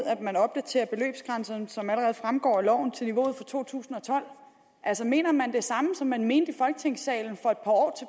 at beløbsgrænserne opdateres som allerede fremgår af loven til niveauet for to tusind og tolv mener man det samme som man mente i folketingssalen for et par år